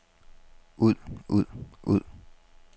ud ud ud